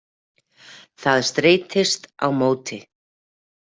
Það streitist á móti.